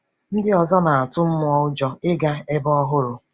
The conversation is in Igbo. Ndị ọzọ na-atụ nnọọ ụjọ ịga ebe ọhụrụ.